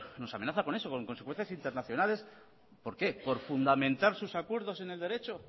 nos amenaza con eso con consecuencias internacionales por qué por fundamentar sus acuerdos en el derecho